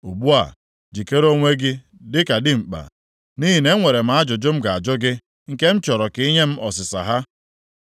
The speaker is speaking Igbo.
Ugbu a, jikere onwe gị dịka dimkpa nʼihi na enwere m ajụjụ m ga-ajụ gị nke m chọrọ ka i nye m ọsịsa ha.